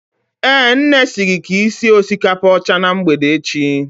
Eh, nne si gị sie osikapa ọcha na mgbede echi